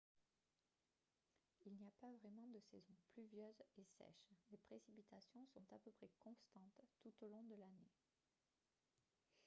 il n'y a pas vraiment de saisons « pluvieuses » et « sèches »: les précipitations sont à peu près constantes tout au long de l'année